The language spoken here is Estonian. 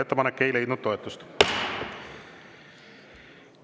Ettepanek ei leidnud toetust.